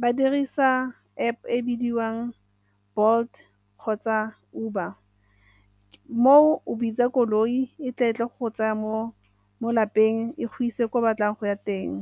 ba dirisa App e bidiwang Bolt kgotsa Uber. Moo o bitsa koloi e tla e tle go tsaya mo lapeng e go ise kwa o batlang go ya teng.